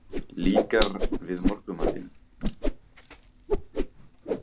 Líkar við morgunmatinn?